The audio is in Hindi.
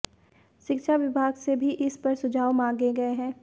शिक्षा विभाग से भी इस पर सुझाव मांगे गए हैं